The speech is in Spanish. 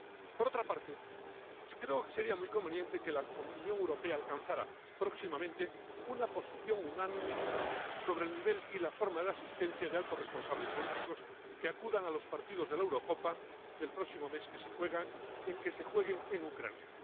Por otra parte, creo que sería muy conveniente que la Unión Europea alcanzara próximamente una posición unánime sobre el nivel y la forma de asistencia de los altos responsables políticos que acudan a los partidos de la Eurocopa del próximo mes que se juegan en Ucrania.